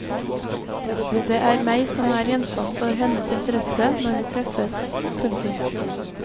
Det er meg som er gjenstand for hennes interesse når vi treffes. punktum